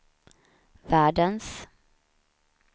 världens